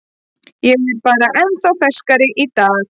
Ég er bara ennþá ferskari í dag.